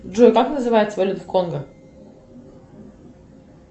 джой как называется валюта в конго